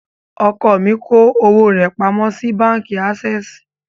Ọkọ mi kó owó rẹ̀ pamọ́ sí báǹkì ásẹ́ẹ̀sì.